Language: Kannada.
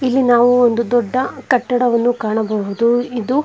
ಇಲ್ಲಿ ನಾವು ಒಂದು ದೊಡ್ಡ ಕಟ್ಟಡವನ್ನು ಕಾಣಬಹುದು ಇದು.